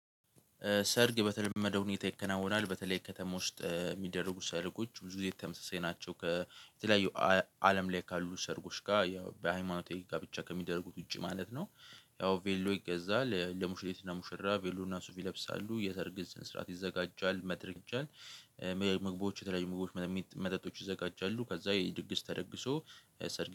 ሰርግ በተለመደው ሁኔታ ይከናወናል በተለይ ከተማ ውስጥ የሚደረጉ ሰርጎች ብዙ ጊዜ ተመሳሳይ ናቸው። ከተለያዩ አለም ላይ ካሉ ሰርጎች ጋር ያው በሃይማኖታዊ ጋብቻ ከሚደረጉት ውጪ ማለት ነው። ያው ቬሎ ይገዛል ለሙሽሪት እና ሙሽራ ቬሎ እና ሱፍ ይለብሳሉ የሰርግ ስነ ስርዓት ይዘጋጃል። መድረክ ይዘጋጃል። ምግቦች የተለያዩ መግቦች መጠጦች ይዘጋጃሉ። ከዛ የድግስ ተደግሶ ሰርግ።